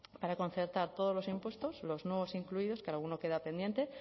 para concertar todos los impuestos los nuevos incluidos que alguno queda pendiente